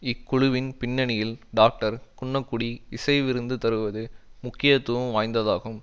இக்குழுவின் பின்னணியில் டாக்டர் குன்னக்குடி இசை விருந்து தருவது முக்கியத்துவம் வாய்ந்ததாகும்